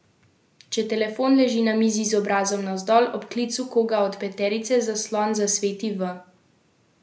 Če telefon leži na mizi z obrazom navzdol, ob klicu koga od peterice zaslon zasvetiti v njegovi barvi.